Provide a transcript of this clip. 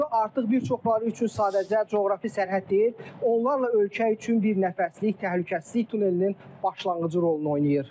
Bura artıq bir çoxları üçün sadəcə coğrafi sərhəd deyil, onlarla ölkə üçün bir nəfəslik təhlükəsizlik tunelinin başlanğıcı rolunu oynayır.